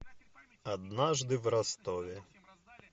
однажды в ростове